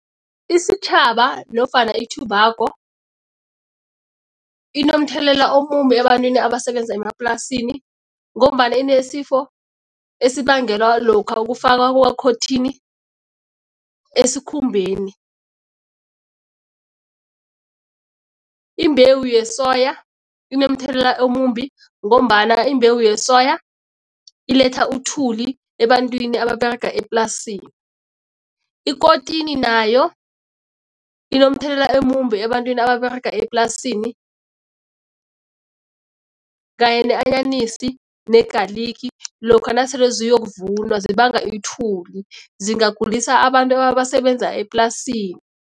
Isitjhaba nofana i-tobacco inomthelela omumbi ebantwini abasebenza emaplasini ngombana inesifo esibangela lokha ukufakwa kwekhothini esikhumbeni. Imbewu yesoya inomthelela omumbi ngombana imbewu yesoya iletha uthuli ebantwini ababerega eplasini. Ikotini nayo inomthelela omumbi ebantwini ababerega eplasini kanye ne-anyanisi ne-garlic lokha nasele ziyokuvunwa zibanga ithuli, zingagulisa abantu abasebenza eplasini.